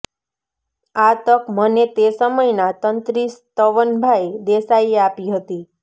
આ તક મને તે સમયના તંત્રી સ્તવનભાઇ દેસાઇએ આપી હતી